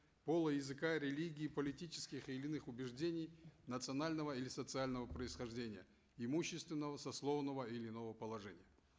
пола языка религии политических или иных убеждений национального или социального происхождения имущественного сословного и иного положения